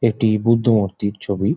একটি বুদ্ধ মূর্তির ছবি ।